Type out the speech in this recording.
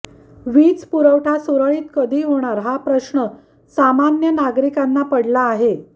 वीज पुरवठा सुरळीत कधी होणार हा प्रश्न सामान्य नागरिकांना पडला आहे